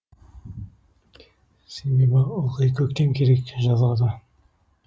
себебі ылғи көктем керек жазға да